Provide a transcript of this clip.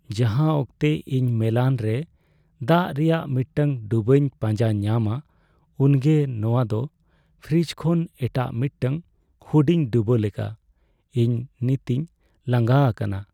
ᱡᱟᱦᱟᱸ ᱚᱠᱛᱮ ᱤᱧ ᱢᱮᱞᱟᱱ ᱨᱮ ᱫᱟᱜ ᱨᱮᱭᱟᱜ ᱢᱤᱫᱴᱟᱝ ᱰᱩᱵᱟᱹᱧ ᱯᱟᱸᱡᱟ ᱧᱟᱢᱟ, ᱩᱱᱜᱮ ᱱᱚᱣᱟ ᱫᱚ ᱯᱷᱨᱤᱡᱽ ᱠᱷᱚᱱ ᱮᱴᱟᱜ ᱢᱤᱫᱴᱟᱝ ᱦᱩᱰᱤᱧ ᱰᱩᱵᱟᱹ ᱞᱮᱠᱟ ᱾ ᱤᱧ ᱱᱤᱛᱤᱧ ᱞᱟᱸᱜᱟ ᱟᱠᱟᱱᱟ ᱾